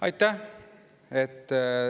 Aitäh!